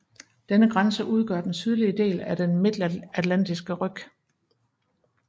Denne grænse udgør den sydlige del af den Midtatlantiske ryg